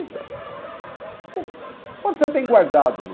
Então, quando você tem guardado no